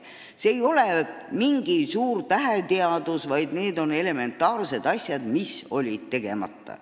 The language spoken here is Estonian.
See ei ole suur täheteadus, vaid need on elementaarsed asjad, mis jäid tegemata.